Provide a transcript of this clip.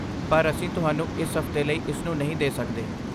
ਪਰ ਅਸੀਂ ਤੁਹਾਨੂੰ ਇਸ ਹਫ਼ਤੇ ਲਈ ਇਸ ਨੂੰ ਨਹੀਂ ਦੇ ਸਕਦੇ।